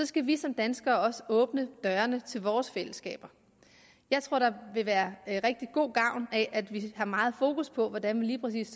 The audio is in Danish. skal vi som danskere også åbne dørene til vores fællesskaber jeg tror der vil være rigtig god gavn af at vi har meget fokus på hvordan vi lige præcis